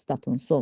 Statın sonu.